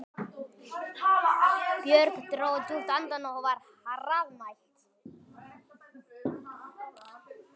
Björg dró djúpt andann og var hraðmælt